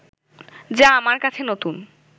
যা আমার কাছে নতুন